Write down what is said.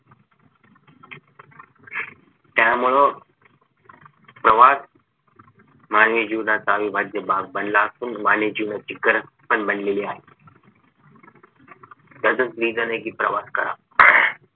त्यामुळं प्रवास मानवी जीवनाचा अविभाज्य भाग बनला असून मानवी जीवनाची गरज पण बनलेली आहे त्याचाच reason आहे कि प्रवास करा